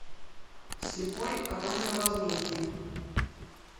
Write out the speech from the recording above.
слепой оружие возмездия